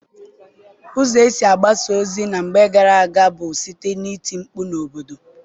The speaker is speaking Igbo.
Ụzọ e si agbasa ozi na mgbe gara aga bụ site n'iti mkpu n'obodo